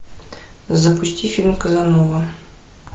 запусти фильм казанова